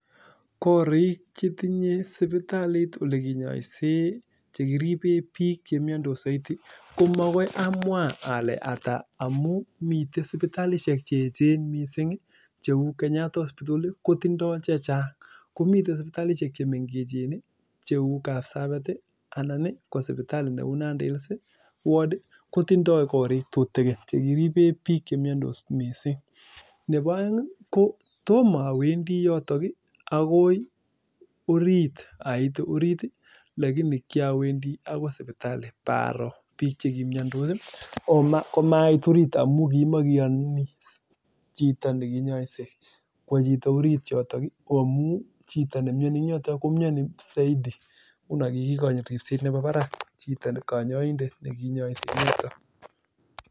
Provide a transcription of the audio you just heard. Koriik chetinye sipitalit nekinyoisen, chekiriben biik chemiondos soiti ko magoi amwa ole ata amun miten sipitalisiek keechen missing kou Kenyatta hospital kotindo chechang',komiten sipitalisiek chemengechen ii kou Kabsabet ii anan ko sipitalit neu Nandi hills, ward kotindoi korik chetutigin chekiben biik chemiondos missing, nebo oeng ii ko tomowendi yotok ii agoi orit ait orit lagini kiowendi agoi sipitali ipoger biik chekimiondos komait orit amun kimogiyi chito nekinyoise kwo chito orit yotok ii ko amun chito nemioni en yoton komiomi soidi ngunon kikikochin ripset nemi barak chito, konyoindet nekinyoise en yoton.